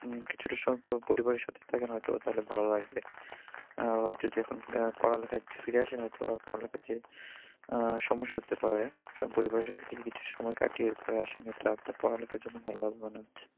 উম কিছুটা সময় একটু পরিবারের সাথে থাকেন হয়ত তাহলে ভালো লাগবে। আবার যদি এখন পড়ালেখায় একটু ফিরে আসেন হয়তোবা পড়ালেখার যে উহ যে সমস্যা হতে পারে সব পরিবারের সাথে কিছু যদি একটু সময় কাটিয়ে আসেন এটা আপনার পড়ালেখার জন্য ভালো হবে মনে হচ্ছে।